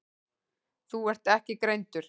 Þú ert ekki greindur.